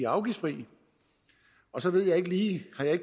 afgiftsfri og så ved jeg ikke lige det har jeg